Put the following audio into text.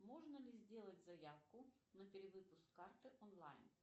можно ли сделать заявку на перевыпуск карты онлайн